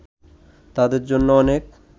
তাদের জন্য অনেক